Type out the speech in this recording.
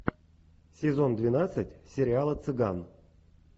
сезон двенадцать сериала цыган